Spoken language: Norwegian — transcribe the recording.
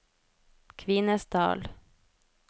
Kvinesdal